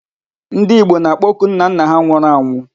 Ndị Igbo na-akpoku nnanna ha nwụrụ anwụ.